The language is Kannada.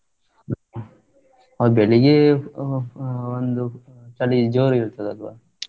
ಬೆಳ್ಳಿಗ್ಗೆ ಅ ಅ ಒಂದು ಚಳಿ ಜೋರು ಇರ್ತದಲ್ವಾ?